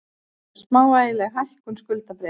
Smávægileg hækkun skuldabréfa